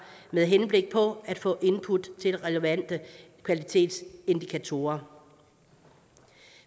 med henblik på at få input til relevante kvalitetsindikatorer